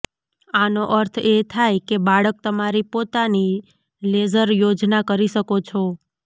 આનો અર્થ એ થાય કે બાળક તમારી પોતાની લેઝર યોજના કરી શકો છો